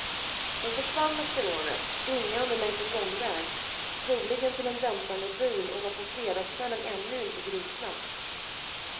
De försvann efter rånet springande längs en gångväg, troligen till en väntande bil och var på fredagskvällen ännu inte gripna.